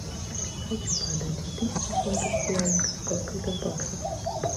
хочу продать две тысячи фунтов стерлингов сколько это в баксах